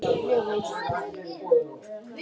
Ég vann flesta daga langt fram á kvöld.